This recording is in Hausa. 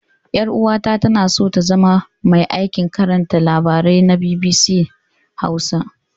Ƴar'uwata tana so ta zama mai aikin karanta labarai na BBC Hausa.